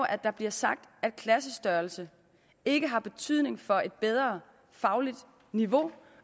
at der bliver sagt at klassestørrelsen ikke har betydning for et bedre fagligt niveau